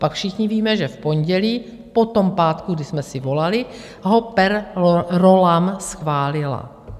Pak všichni víme, že v pondělí po tom pátku, kdy jsme si volali, ho per rollam schválila.